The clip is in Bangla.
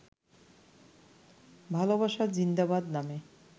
ভালোবাসা জিন্দাবাদ নামে